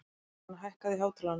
Emilíana, hækkaðu í hátalaranum.